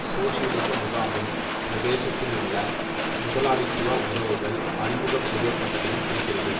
சோசியலிச முகாமின் பிரதேசத்தினுள் முதலாளித்துவ உறவுகள் அறிமுகம் செய்யப்பட்டதையும் குறிக்கிறது